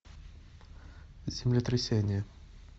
землетрясение